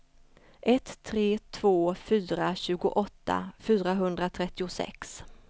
ett tre två fyra tjugoåtta fyrahundratrettiosex